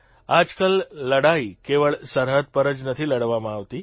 આજકાલ લડાઇ કેવળ સરહદ પર જ નથી લડવામાં આવતી